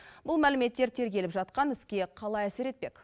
бұл мәліметтер тергеліп жатқан іске қалай әсер етпек